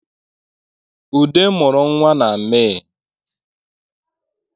Ude mụrụ nwa na Mee